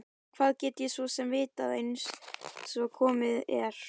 Hvað get ég svo sem vitað einsog komið er?